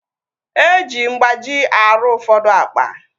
Eji mgbaji arụ ụfọdụ akpa